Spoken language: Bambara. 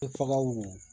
E fagaw don